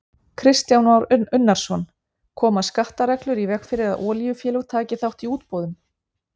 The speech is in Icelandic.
Kristján Már Unnarsson: Koma skattareglur í veg fyrir að olíufélög taki þátt í útboðum?